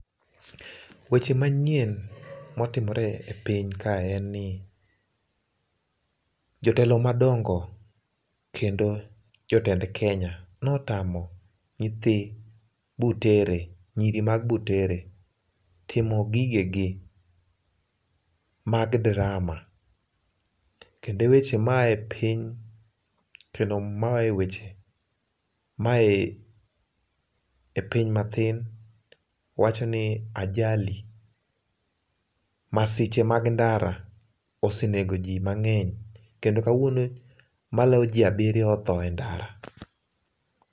Weche manyien motimore e piny kae en ni jotelo madongo kendo jotend Kenya notamo nyithi Butere, nyiri mag Butere timo gige gi mag drama, kendo weche maaye piny ,kendo maaye weche, maaye e piny matin wachoni ajali, masiche mag ndara osenego jii mangeny kendo kawuono maloyo jii abirio otho e ndara